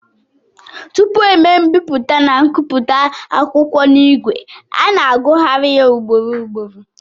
Tupu e mee mbipụta na nkụpụta akwụkwọ n'ìgwè, a na-agụgharị ya ugboro ugboro